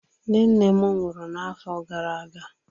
Nne nne m nwụrụ n'afọ gara aga.